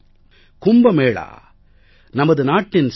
கும்ப மேளா நமது நாட்டின் சிறப்பு